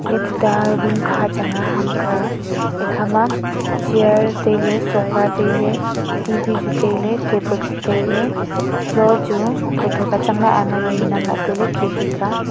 iya tuta room kha chang a hamkha a ikha ma chair tailey sofa tailey T_V chu tailey table chu tailey floor chu tho tho ka chang a hama ni namla tailey khe khe ka a.